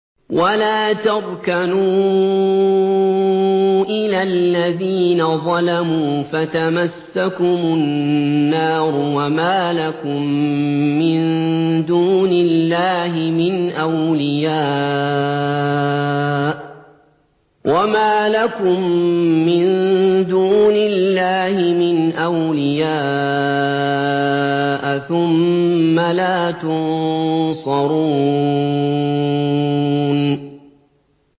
وَلَا تَرْكَنُوا إِلَى الَّذِينَ ظَلَمُوا فَتَمَسَّكُمُ النَّارُ وَمَا لَكُم مِّن دُونِ اللَّهِ مِنْ أَوْلِيَاءَ ثُمَّ لَا تُنصَرُونَ